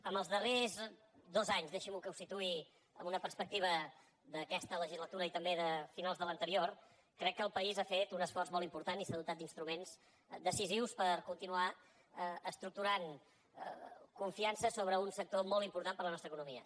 en els darrers dos anys deixi’m que ho situï amb una perspectiva d’aquesta legislatura i també de finals de l’anterior crec que el país ha fet un esforç molt important i s’ha dotat d’instruments decisius per continuar estructurant confiança sobre un sector molt important per a la nostra economia